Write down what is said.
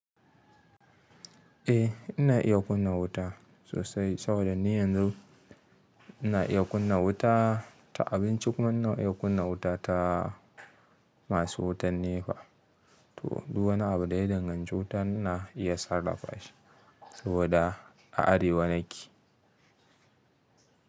Eh ina iya kunna wuta sosai saboda ni yanzu ina iya kunna wuta ta abinci kuma ina iya kunna wuta ta masu wutan NEPA. To duk wani abu da ya danganci wuta na iya sarrafa shi saboda a Arewa nake.